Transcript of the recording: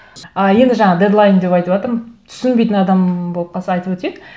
ы енді жаңа дедлайн деп айтыватырмын түсінбейтін адам болып қалса айтып өтейік